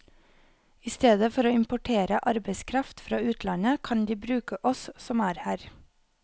I stedet for å importere arbeidskraft fra utlandet, kan de bruke oss som er her.